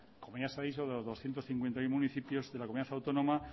como ya se ha dicho de los doscientos cincuenta y uno municipios que la comunidad autónoma